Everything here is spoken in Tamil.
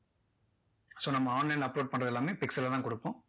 so நம்ம online ல uploadpixel ல தான் கொடுப்போம்.